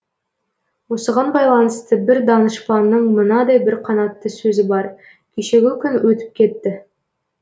осыған байланысты бір данышпанның мынадай бір қанатты сөзі бар кешегі күн өтіп кетті